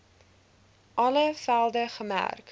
alle velde gemerk